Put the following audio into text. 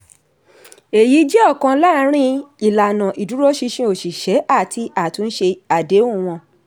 èyí jẹ́ ọ̀kan lárin ìlànà ìdúróṣinṣin oṣìṣẹ́ àti àtúnṣe àdéhùn wọn.